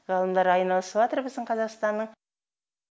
ғалымдар айналысыватыр біздің қазақстанның